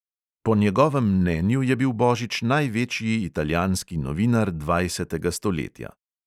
Po njegovem mnenju je bil božič največji italijanski novinar dvajsetega stoletja.